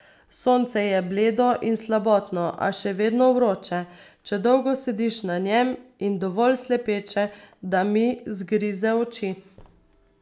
Sonce je bledo in slabotno, a še vedno vroče, če dolgo sediš na njem, in dovolj slepeče, da mi zgrize oči.